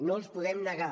no els podem negar